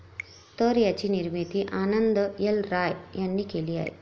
तर याची निर्मिती आनंद एल राय यांनी केली आहे.